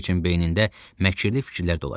Pavloviçin beynində məkirli fiklər dolaşırdı.